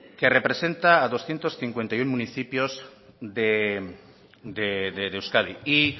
que representa a doscientos cincuenta y uno municipios de euskadi y